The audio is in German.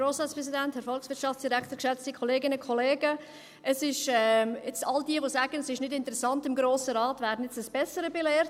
All jene, die sagen, im Grossen Rat sei es nicht interessant, werden jetzt eines Besseren belehrt.